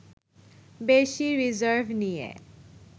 বেশি রিজার্ভ নিয়ে